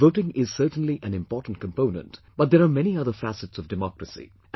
Voting is certainly an important component but there are many other facets of democracy